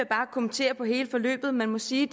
bare kommentere på hele forløbet man må sige